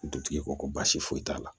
Dutigi ko ko baasi foyi t'a la